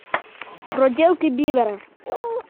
проделки бивера